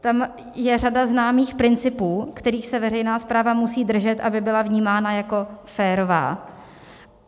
Tam je řada známých principů, kterých se veřejná správa musí držet, aby byla vnímána jako férová.